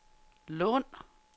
Lund